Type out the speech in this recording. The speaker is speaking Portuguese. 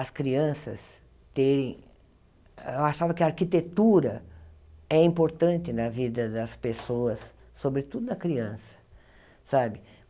as crianças terem... Eu achava que a arquitetura é importante na vida das pessoas, sobretudo na criança, sabe?